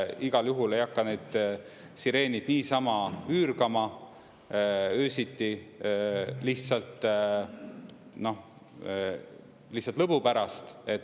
Igal juhul ei hakka neid sireenid niisama üürgama öösiti, lihtsalt lõbu pärast.